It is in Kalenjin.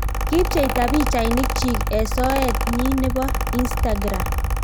Kipcheitaa pichainik chiik eng Soet nyii nepoo inistagram